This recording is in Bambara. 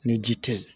Ni ji tɛ yen